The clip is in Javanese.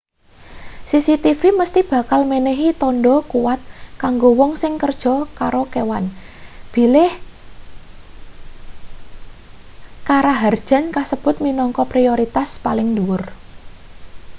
cctv mesthi bakal menehi tandha kuwat kanggo wong sing kerja karo kewan bilih karaharjan kasebut minangka prioritas paling dhuwur